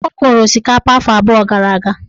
Ọ kọrọ osikapa afọ abụọ gara aga.